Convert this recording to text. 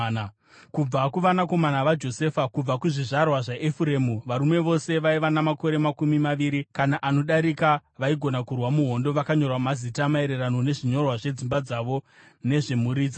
Kubva kuvanakomana vaJosefa: Kubva kuzvizvarwa zvaEfuremu: Varume vose vaiva namakore makumi maviri kana anodarika vaigona kurwa muhondo vakanyorwa mazita, maererano nezvinyorwa zvedzimba dzavo nezvemhuri dzavo.